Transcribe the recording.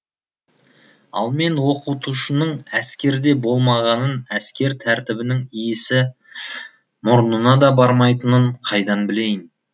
ал мен оқытушының әскерде болмағанын әскер тәртібінің иісі мұрнына да бармайтынын қайдан білейін